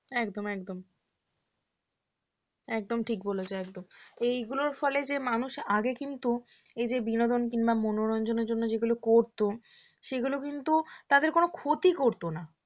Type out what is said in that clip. একদম একদম একদম ঠিক বলেছো একদম এইগুলোর ফলে যে মানুষ আগে কিন্তু এই যে বিনোদন কিংবা মনোরঞ্জনের জন্য করতো যেগুলো করতো সেগুলো কিন্তু তাদের কোন ক্ষতি করত না